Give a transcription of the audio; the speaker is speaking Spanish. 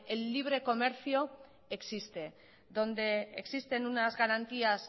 el libre comercio existe donde existen unas garantías